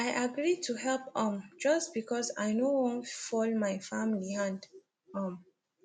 i agree to help um just because i no wan fall my family hand um